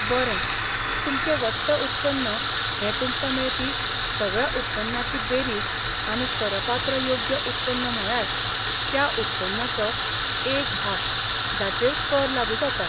बरें, तुमचें वट्ट उत्पन्न हें तुमकां मेळपी सगळ्या उत्पन्नाची बेरीज आनी करपात्र योग्य उत्पन्न म्हळ्यार त्या उत्पन्नाचो एक भाग जाचेर कर लागू जाता.